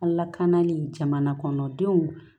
Alakana ni jamanakɔnɔdenw